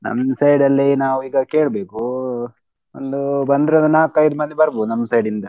ನಮ್ side ಅಲ್ಲಿ ನಾವ್ ಈಗ ಕೇಳ್ಬೇಕು ಒಂದು ಬಂದ್ರೆ ಒಂದು ನಾಕ್ ಐದ್ ಮಂದಿ ಬರ್ಬೋದು ನಮ್ side ಇಂದ.